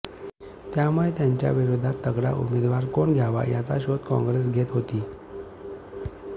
त्यामुळे त्यांच्या विरोधात तगडा उमेदवार कोण द्यावा याचा शोध काँग्रेस घेत होती